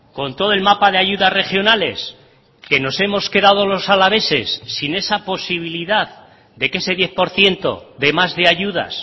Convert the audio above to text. con todo el mapa de ayudas regionales que nos hemos quedado los alaveses sin esa posibilidad de que ese diez por ciento de más de ayudas